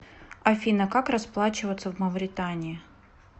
афина как расплачиваться в мавритании